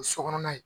O so kɔnɔna ye